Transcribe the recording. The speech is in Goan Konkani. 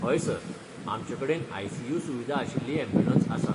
हय सर! आमचे कडेन आय.सी.यू. सुविदा आशिल्ली यॅम्ब्युलंस आसा.